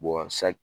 sa